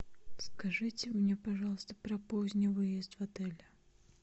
скажите мне пожалуйста про поздний выезд в отеле